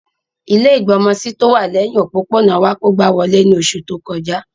Ilẹ́ ìgbọmọsí tówà lẹhin òpópónà wa kógba wolé ni oṣu to kọja.